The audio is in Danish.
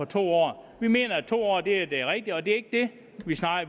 to år vi mener at to år er det det rigtige og det er ikke det